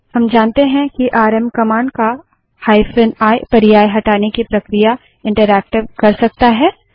हम जानते हैं कि आरएम कमांड का हाइफन आई पर्याय हटाने की प्रक्रिया इंटरैक्टिव कर सकता है